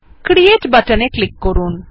create বাটনে click করুন